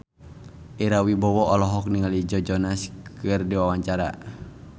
Ira Wibowo olohok ningali Joe Jonas keur diwawancara